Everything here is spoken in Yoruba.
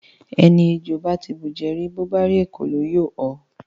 Ẹni ejò bá ti bùjẹ rí, bó bá rí ekòló, yóò họ.